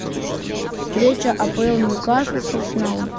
встреча апл ньюкасл с арсеналом